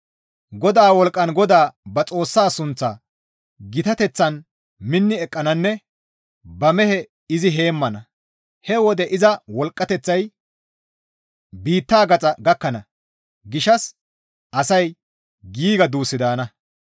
GODAA wolqqan GODAA ba Xoossa sunththa gitateththan minni eqqananne ba mehe izi heemmana; he wode iza wolqqateththay biitta gaxa gakkana gishshas asay giiga duus daana.